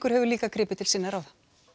hefur líka gripið til sinna ráða